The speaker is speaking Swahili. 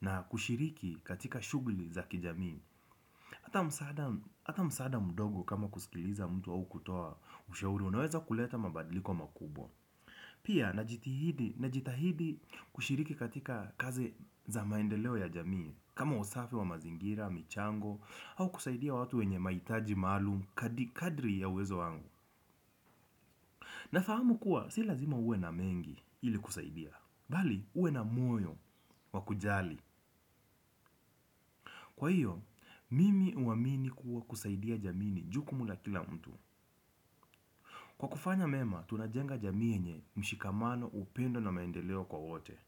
Na kushiriki katika shugli za kijamii. Hata msaada mdogo kama kusikiliza mtu au kutoa ushauri. Unaweza kuleta mabadliko makubwa. Pia, najitahidi kushiriki katika kazi za maendeleo ya jamii. Kama usafi wa mazingira, michango, hau kusaidia watu wenye maitaji maluum, kadri ya uwezo wangu. Nafahamu kuwa, si lazima uwe na mengi ili kusaidia. Bali, uwe na moyo, wa kujali. Kwa iyo mimi huamini kuwa kusaidia jamii ni jukumu la kila mtu. Kwa kufanya mema, tunajenga jamii yenye mshikamano upendo na maendeleo kwa wote.